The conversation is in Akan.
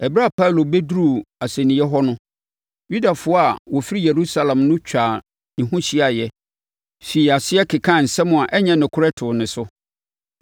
Ɛberɛ a Paulo bɛduruu asɛnniiɛ hɔ no, Yudafoɔ a wɔfiri Yerusalem no twaa ne ho hyiaeɛ firii aseɛ kekaa nsɛm a ɛnyɛ nokorɛ too ne so.